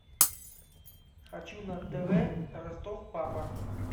хочу на тв ростов папа